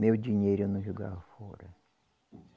Meu dinheiro eu não jogava fora.